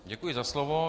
Děkuji za slovo.